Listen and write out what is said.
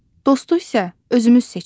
Dostu isə özümüz seçirik.